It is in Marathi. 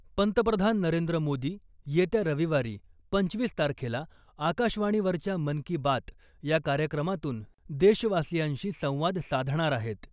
पंतप्रधान नरेंद्र मोदी येत्या रविवारी पंचवीस तारखेला आकाशवाणीवरच्या मन की बात या कार्यक्रमातून देशवासियांशी संवाद साधणार आहेत .